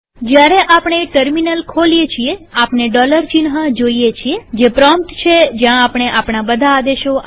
જયારે આપણે ટર્મિનલ ખોલીએ છીએ આપણે ડોલર ચિહ્ન જોઈએ છીએજે પ્રોમ્પ્ટ છે જ્યાં આપણે આપણા બધા આદેશો આપીશું